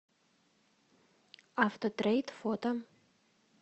автотрейд фото